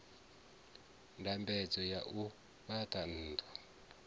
ndambedzo ya u fhaṱa nnḓu